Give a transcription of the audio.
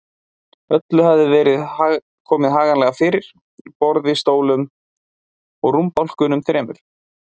Öllu hafði verið komið haganlega fyrir: borði, stólum og rúmbálkunum þremur.